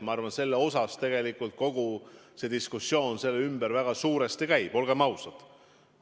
Ma arvan, et selle ümber tegelikult kogu see diskussioon väga suuresti käib, olgem ausad.